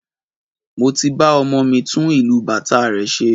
Mo ti ba ọmọ mi tún ìlù bàtá rẹ̀ ṣe